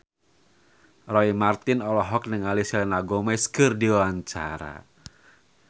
Roy Marten olohok ningali Selena Gomez keur diwawancara